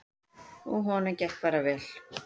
Og honum gekk bara vel.